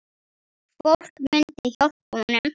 Fólk myndi hjálpa honum.